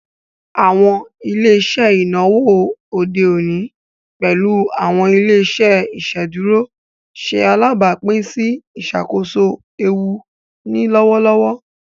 Awọn ile-iṣẹ inawo ode oni, pẹlu awọn ile-iṣẹ iṣeduro, ṣe alabapin si iṣakoso eewu ni lọwọlọwọ.